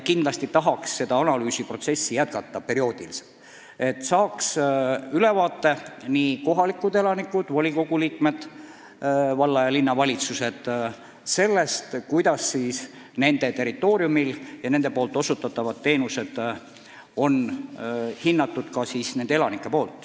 Kindlasti tahaks seda analüüsi edaspidi perioodiliselt teha, et kohalikud elanikud, sh volikogude liikmed, valla- ja linnavalitsused saaks ülevaate sellest, kuidas nende territooriumil nende osutatavaid teenuseid hinnatakse.